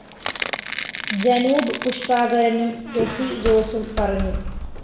Janoub പുഷ്പാകരനും ടെസി ജോസും പറഞ്ഞു